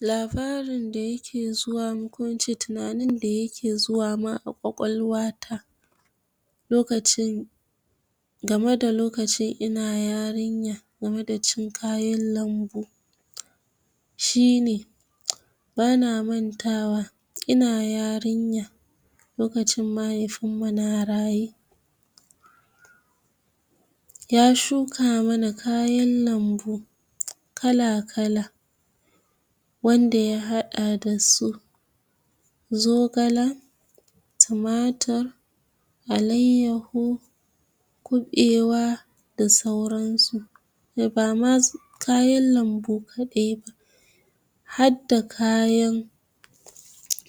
Labarin da yake zuwa mun ko in ce tunanin da yake zuwa mun a cikin ƙwaƙwalwa ta, lokacin game da lokacin ina yariya, game da cin kayan lambu shine: bana mantawa ina yarinya, lokacin mahaifun mu na raye, ya shuka mana kayan lambu kala-kala, wanda ya haɗa da su: zogala, tumatir, alaiyyaho, kuɓewa, da sauran su. Ba ma kayan lambu kaɗai ba, had da kayan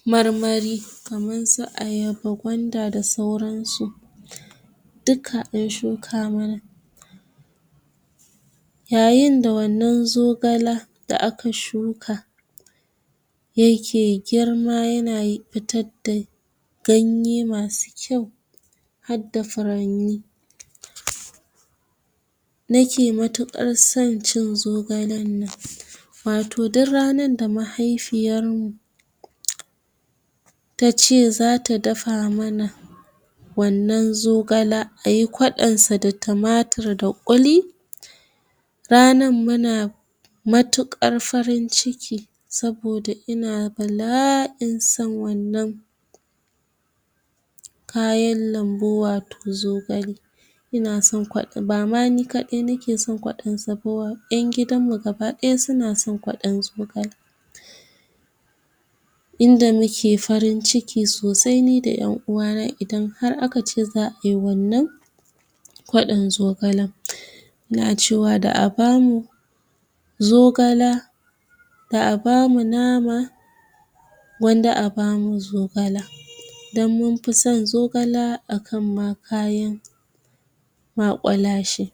marmari, kaman su ayaba, gwanda da sauran su, duka an shuka mana. Yayin da wannan zogala da aka shuka, ya ke girma, yana fitad da ganye masu kyau, had da furanni, nake matuƙar son cin zogalan nan. Wato dur ranar da mahaifiyar mu tace zata dafa mana wannan zogala, ayi kwaɗon sa da tumatir da ƙuli, ranan muna matuƙar farin ciki, saboda ina bala'in son wannan kayan lambu, wato zogale. Ina son kwaɗo, ba ma ni kaɗai nake son kwaɗon sa ba, ƴan gidan mu gaba ɗaya suna son kwaɗon zogala. Inda mu ke farin ciki sosai ni da ƴan uwa na, idan har aka ce za ayi wannan kwaɗon zogalan. Muna cewa da a bamu zogala, da a bamu nama, gwanda a bamu zogala, dan mun fi son zogala a kan ma kayan maƙwalashe.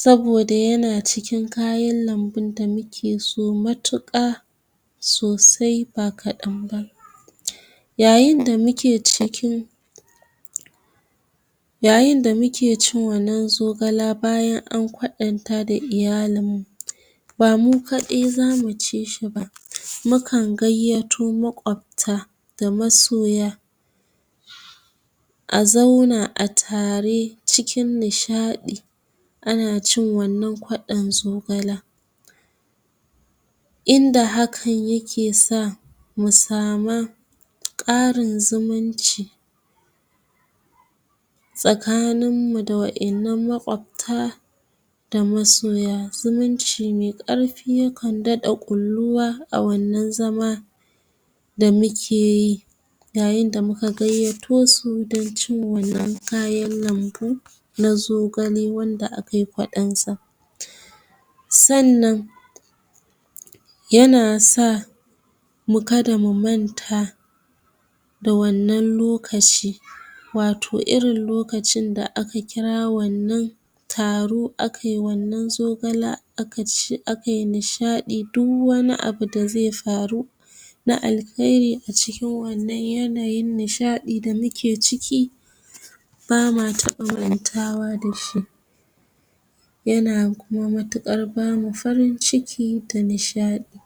Saboda yana cikin kayan lambun da muke so matuƙa sosai, ba kaɗan ba. Yayin da muke cikin yayin da muke cin wannan zogala bayan an kwaɗan ta da iyalin mu, ba mu kaɗai zamu ci shi ba, mu kan gayyato maƙwabta da masoya, a zauna a tare cikin nishaɗi, ana cin wannan kwaɗon zogala. Inda hakan yake sa mu sama ƙarin zumunci, tsakanin mu da wa'innan maƙwafta da masoya, zumunci mai ƙarfi ya kan daɗa kulluwa a wannan zaman da muke yi, yayin da muka gayyato su, don cin wannan kayan lambu na zogale, wanda a kai kwaɗon sa. Sannan yana sa mu kada mu manta da wannan lokaci, wato irin lokacin da aka kira wannan taro a kai wannan zogala, a ka ci, a kai nishaɗi, duw wani abu da zai faru na alkhairi a cikin wannan yanayin nishaɗi da muke ciki, ba ma taɓa mantawa dashi. Yana kuma matuƙar bamu farin ciki da nishaɗi.